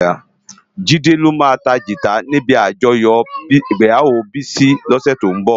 Jide lo má tá gitá ni ibi ájòyò igbéyáwó Bisi lòsè tó nbò